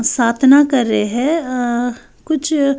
सातना कर रहे हैं अ अ कुछ--